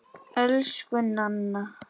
Elsku Nanna.